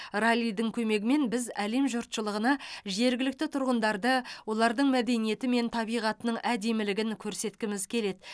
раллидің көмегімен біз әлем жұртшылығына жергілікті тұрғындарды олардың мәдениеті мен табиғатының әдемілігін көрсеткіміз келеді